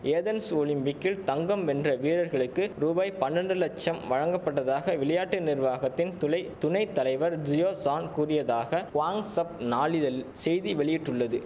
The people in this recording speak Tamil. ஏதென்ஸ் ஒலிம்பிக்கில் தங்கம் வென்ற வீரர்களுக்கு ரூபாய் பன்னண்டு லட்சம் வழங்கப்பட்டதாக விளையாட்டு நிர்வாகத்தின் துளை துணை தலைவர் ஜியோ ஷான் கூறியதாக குவாங்ஸப் நாளிதழ் செய்தி வெளியிட்டுள்ளது